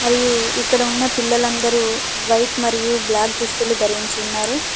మరియు ఇక్కడ ఉన్న పిల్లలందరూ వైట్ మరియు బ్లాక్ దుస్తులు ధరించి ఉన్నారు.